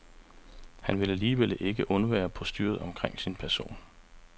Han vil alligevel ikke undvære postyret omkring sin person.